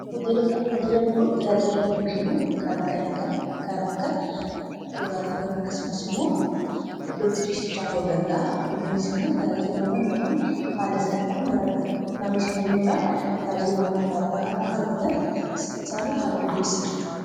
hooteeloonni kun tajaajila hedduu kennu kan akka nyaata, kan akka dhugaatiiwan ,akkasumas immoo iddootti ciishichaa ta'uu danda'a kuniis immoo tajaajilawwan namoon haala salphaan gara nanosandemuudhaan tajaajilawwan addaabdaa kanaakka hardatan isaaniif haala migeessa